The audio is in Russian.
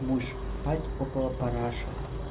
будешь спать около параши